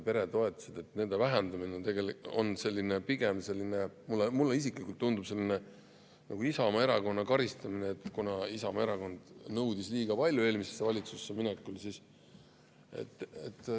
Mulle isiklikult tundub, et nende toetuste vähendamine on nagu Isamaa Erakonna karistamine, kuna Isamaa nõudis eelmisesse valitsusse minekul liiga palju.